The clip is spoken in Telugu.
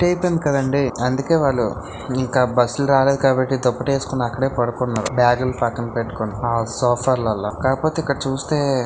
కదండి అందుకే వాళ్లు ఇంకా బస్సులు రాలేదు కాబట్టి దుప్పటి వేసుకొని అక్కడే పడుకున్నార బ్యాగులు పక్కన పెట్టుకొని అ సోఫా లలా కాకపోతే ఇక్కడ చూస్తే--